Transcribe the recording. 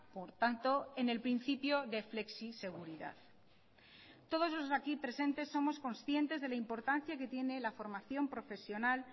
por tanto en el principio de flexiseguridad todos los aquí presentes somos conscientes de la importancia que tiene la formación profesional